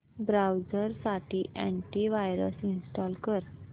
browser साठी anti virus install कर